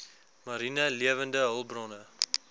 mariene lewende hulpbronne